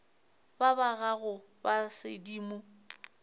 ba ba gago ba sedimo